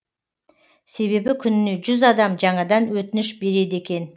себебі күніне жүз адам жаңадан өтініш береді екен